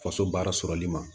Faso baara sɔrɔli ma